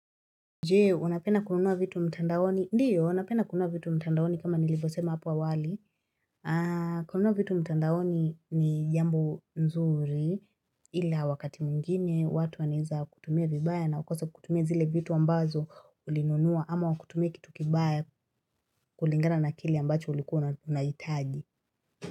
Jee, wanapena kununua vitu mtandawoni. Ndiyo, wanapena kununua vitu mtandawoni kama nilivosema hapa wali. Ah, kununua vitu mtandawoni ni jambo nzuri ila wakati mungine watu waneza kutumia vibaya na ukosa kutumia zile vitu ambazo ulinunua ama wakutumia kitu kibaya kulingana na kile ambacho ulikuwa na tunaitagi.